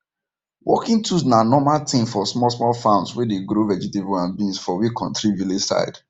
working tools na normal thing for smallsmall farms wey dey grow vegetable and beans for we kontri village side